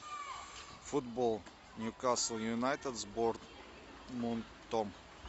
футбол ньюкасл юнайтед с борнмутом